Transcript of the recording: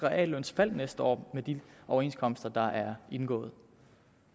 reallønsfald næste år med de overenskomster der er indgået